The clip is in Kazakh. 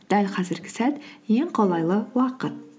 дәл қазіргі сәт ең қолайлы уақыт